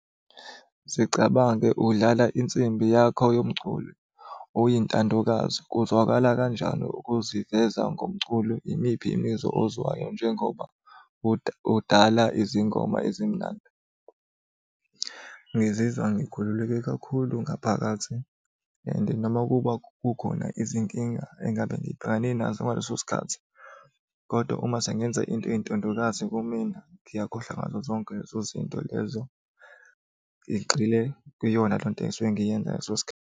Zicabange udlala insimbi yakho yomculo oyintandokazi, kuzwakala kanjani ukuziveza ngomculo? Yimiphi imizwa ozwayo njengoba udala izingoma ezimnandi? Ngizizwa ngikhululeke kakhulu ngaphakathi and noma kuba kukhona izinkinga engabe ngibhekane nazo ngaleso sikhathi kodwa uma sengenza into eyintandokazi kumina, ngiyakhohlwa ngazo zonke lezo zinto lezo, ngigxile kwiyona leyo nto engisuke ngiyenza ngaleso sikhathi.